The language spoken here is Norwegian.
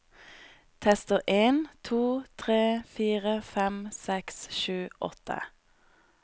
Tester en to tre fire fem seks sju åtte